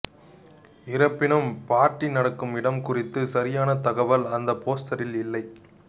இருப்பினும் பார்ட்டி நடக்கும் இடம் குறித்த சரியான தகவல் அந்த போஸ்டரில் இல்லை